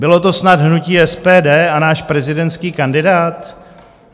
Bylo to snad hnutí SPD a náš prezidentský kandidát?